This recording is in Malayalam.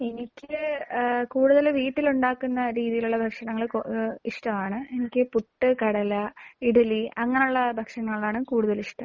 എനിക്ക് ഏഹ് കൂടുതലും വീട്ടിൽ ഉണ്ടാക്കുന്ന രീതിയിലുള്ള ഭക്ഷണങ്ങൾ ക് ഏഹ് ഇഷ്ടമാണ്. എനിക്ക് പുട്ട്, കടല, ഇഡലി അങ്ങനെയുള്ള ഭക്ഷണങ്ങളോടാണ് കൂടുതൽ ഇഷ്ടം.